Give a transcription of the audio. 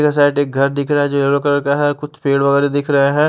यह शायद एक घर दिख रहा है जो येलो कलर का है और कुछ पेड़ वगैरह दिख रहा है।